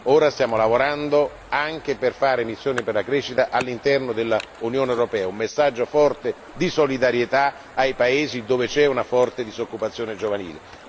Ora stiamo lavorando per avviare missioni per la crescita anche all'interno dell'Unione europea, per dare un messaggio forte di solidarietà ai paesi dove c'è una forte disoccupazione giovanile.